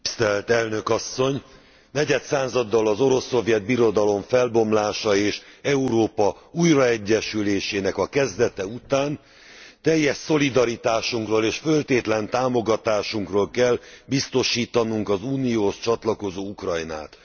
Tisztelt Elnök Asszony! Negyed századdal az Orosz Szovjet Birodalom felbomlása és Európa újraegyesülésének a kezdete után teljes szolidaritásunkról és föltétlen támogatásunkról kell biztosítanunk az Unióhoz csatlakozó Ukrajnát.